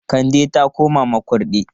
Kande ta koma Makurdi.